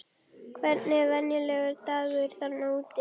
Hvernig er venjulegur dagur þarna úti?